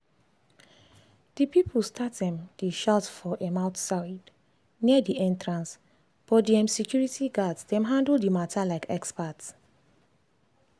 the people start um dey shout for um outside near the entrancebut the um security guards dem handle the matter like expert.